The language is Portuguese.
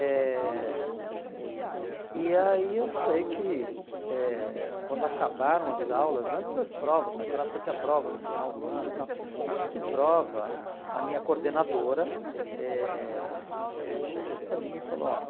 Eh e aí eu sei que eh quando acabaram as aulas, antes das provas, naquela época tinha prova no final do ano e tal, antes de prova, a minha coordenadora eh eh chegou para mim e falou, ó,